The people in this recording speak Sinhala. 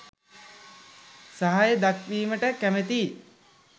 සහය දැක්වීමට කැමතියි.